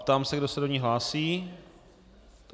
Ptám se, kdo se do ní hlásí.